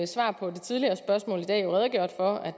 svaret på et tidligere spørgsmål i dag redegjort for at